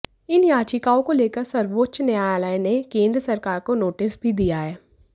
इन याचिकाओं को लेकर सर्वोच्च न्यायालय ने केंद्र सरकार को नोटिस भी दिया है